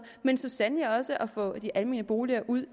men så sandelig også at få de almene boliger ud